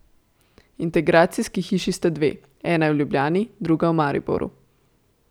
Integracijski hiši sta dve, ena je v Ljubljani, druga v Mariboru.